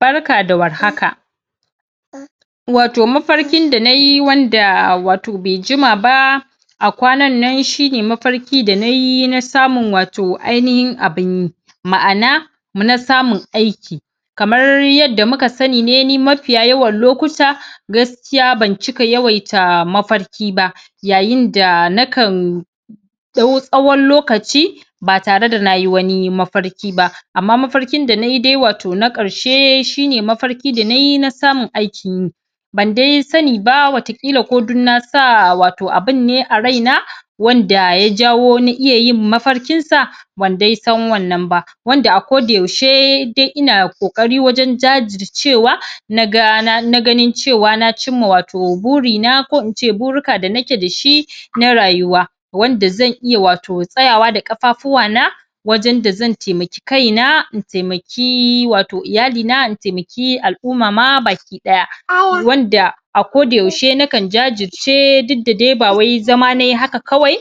Barka da war haka. Wato mafarkin da nayi wanda wato bai jima ba a kwanan nan shine mafarki da nayi na samun wato ainahin abunyi. Ma'ana na samun aiki. kamar yadda muka sani ne ni mafiya yawan lokuta gaskiya ban cika yawaita mafarki ba yayin da nakan ɗau tsawon lokaci ba tareda nayi wani mafarki ba. Amma mafarkin da nayi dai wato na ƙarshe shine mafarki da nayi na samun aikin yi bandai sani ba wataƙila ko dan nasa wato abunne a rai na, wanda ya jawo na iya yin mafarkin sa bandai san wannan ba. Wanda a ko da yaushe dai ina ƙokari wajen jajircewa, nagaa na ganin cewa na cinma wato burina ko ince burika da nake dashi na rayuwa. Wanda zan iya wato tsayawa da ƙafafuwa na, wajen da zan taimaki kaina in taimaki wato iyalina in taimaki al'umma ma baki daya. Wanda a koda yaushe nakan jajirce dukda dai bawai zama nayi haka kawai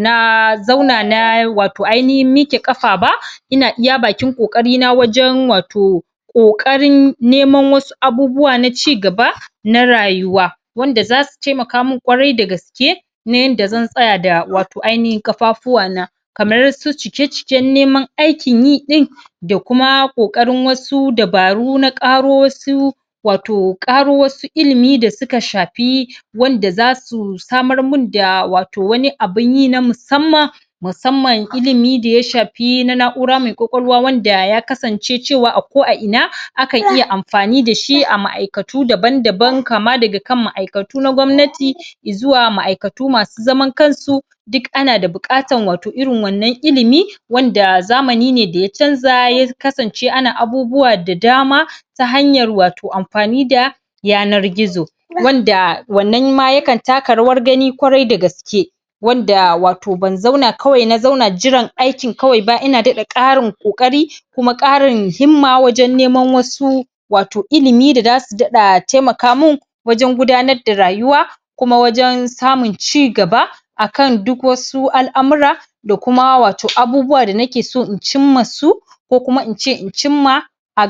na zauna na wato ainahin miƙe ƙafa ba ina iya bakin ƙoƙarina wajen wato ƙoƙarin neman wasu abubuwa na ci gaba na rayuwa. Wanda zasu taimaka min ƙwarai dagaske na yanda zan tsaya da wato ainihin ƙafafuwa na. Kamar su ciki-ciken neman aikinyi ɗin da kuma ƙoƙarin wasu dabaru na ƙaro wasu wato ƙaro wasu ilimi da suka shafi wanda zasu samarmin da wato wani abunyi na musamman musamman ilimi da ya shafi na na'ura mai ƙwaƙwalwa wanda ya kasance cewa a ko a ina akan iya amfani dashi a ma'aikatu daban-daban kama daga kan ma'aikatu na gwamnati zuwa ma'aikatu masu zaman kansu duk ana da buƙatar wato irin wannan ilimi wanda zamani ne da ya canza ya kasance ana abubuwa da dama ta hanyar wato amfani da yanar gizo. Wanda wannan ma yakan taka rawar gani ƙwarai da gaske wanda wato ban zauna kawai na zauna jiran aikin kawai ba ina daɗa ƙarin ƙoƙari da kuma ƙarin himma wajen neman wasu wato ilimi da zasu daɗa taimaka min wajen gudanar da rayuwa kuma wajen samun cigaba akan duk wasu al'amura da kuma wato abubuwa da nakeso in cin masu ko kuma ince in cin ma a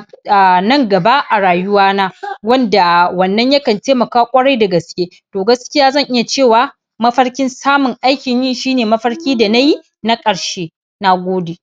nan gaba a rayuwa na. Wanda wannan yakan taimaka ƙwarai dagaske. To gaskiya zan iya cewa mafarkin samun aikinyi shine mafarki da nayi na ƙarshe. Nagode